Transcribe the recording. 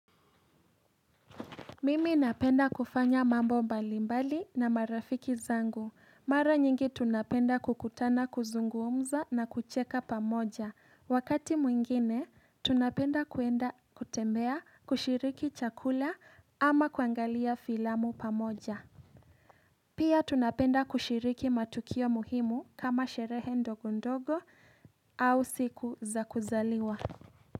Mimi napenda kufanya mambo mbali mbali na marafiki zangu mara nyingi tunapenda kukutana kuzungumza na kucheka pamoja wakati mwingine tunapenda kuenda kutembea kushiriki chakula ama kuangalia filamu pamoja Pia tunapenda kushiriki matukio muhimu kama sherehe ndogo ndogo au siku za kuzaliwa.